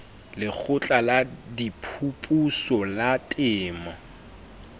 lekgotla la diphuputso la temo